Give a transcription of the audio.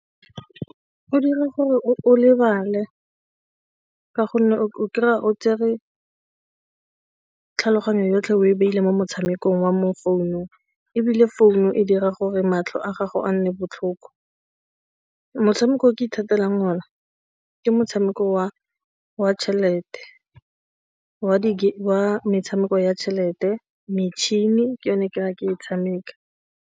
Go dira gore o lebale ka gonne o kry-a o tsere tlhaloganyo yotlhe o e beile mo motshamekong wa mo founung ebile founu e dira gore matlho a gago a nne botlhoko. Motshameko o ke ithatelang one ke motshameko wa tšhelete, wa metshameko ya tšhelete, metšhini ke yone gore ke e tshameka.